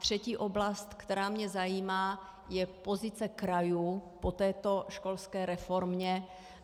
Třetí oblast, která mě zajímá, je pozice krajů po této školské reformě.